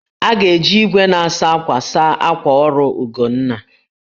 A ga-eji igwe na-asa akwa saa akwa ọrụ Ugonna